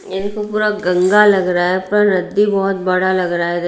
इनको पूरा गंगा लग रहा है पर नदी बहुत बड़ा लग रहा है इधर--